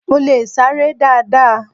Mo leè sáré dáadáa